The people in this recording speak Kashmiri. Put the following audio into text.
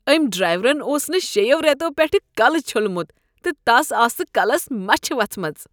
أمۍ ڈرٛیورن اوس نہٕ شیٚیو رٮ۪تو پٮ۪ٹھٕ کلہٕ چھوٚلمت تہٕ تس آسہٕ کلس مچھ وژھمژٕ۔